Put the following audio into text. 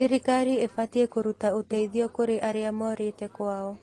Thirikari ĩbatiĩ kũruta ũteithio kũrĩ arĩa morĩte kwao.